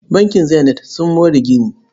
Bankin Zenith sun more gini.